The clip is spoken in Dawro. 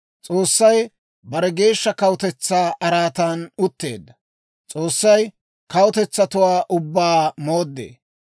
S'oossay bare geeshsha kawutetsaa araatan utteedda; S'oossay kawutetsatuwaa ubbaa mooddee.